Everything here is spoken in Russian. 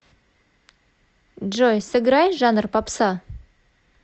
джой сыграй жанр попса